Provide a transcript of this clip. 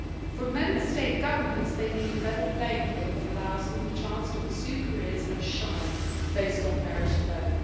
From Member State governments, they need a level playing field that allows them the chance to pursue careers and shine, based on merit alone.